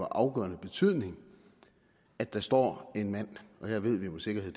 af afgørende betydning at der står en mand og her ved vi med sikkerhed